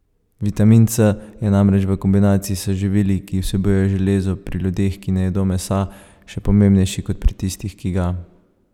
Vitamin C je namreč v kombinaciji s živili, ki vsebujejo železo, pri ljudeh, ki ne jedo mesa, še pomembnejši kot pri tistih, ki ga.